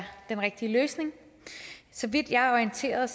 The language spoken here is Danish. den rigtige løsning så vidt jeg er orienteret